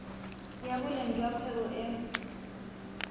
ya boleng jwa kgwebo e